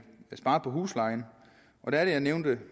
spare på huslejen der nævnte